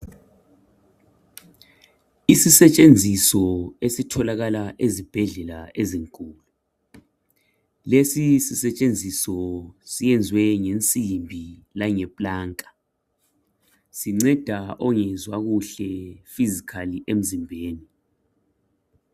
Isisetshenziso esitholakala ezibhedlela ezinkulu. Lesi sisetshenziso siyenziwe ngensimbi langeplanka. Sinceda ongezwa kuhle physically emzimbeni.